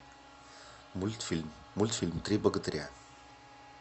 мультфильм мультфильм три богатыря